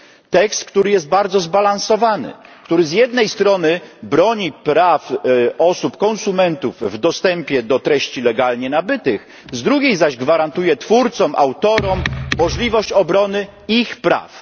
Tekst, który jest bardzo zbalansowany, który z jednej strony broni praw osób, konsumentów, w dostępie do treści legalnie nabytych, z drugiej zaś gwarantuje twórcom, autorom możliwość obrony ich praw.